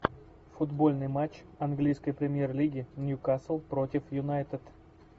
футбольный матч английской премьер лиги ньюкасл против юнайтед